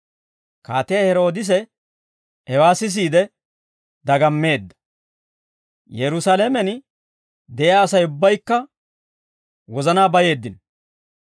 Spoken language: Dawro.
Kaatiyaa Heroodise, hewaa sisiide dagammeedda; Yerusaalamen de'iyaa Asay ubbaykka wozanaa bayeeddino.